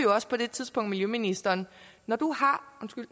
også på det tidspunkt miljøministeren når